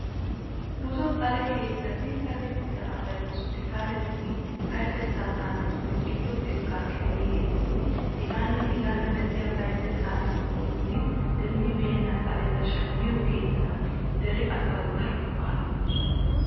Buzo xale keettati sakettida asay hosppitaaletun, payyatettaa xaabeetun, giddo xekkaa kiliniketun hegaanne hegaa mala payyatettaa eqotatun demmibeenna xaleta shammiyo keettata. Dere asawu daro go''aa immoosona.